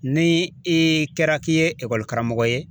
Ni i kɛra ki ye ekɔli karamɔgɔ ye